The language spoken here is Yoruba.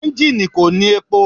Enjini ko ni epo